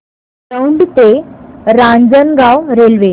दौंड ते रांजणगाव रेल्वे